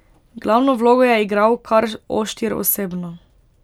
Glavno vlogo je igral kar oštir osebno.